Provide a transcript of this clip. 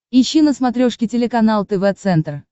ищи на смотрешке телеканал тв центр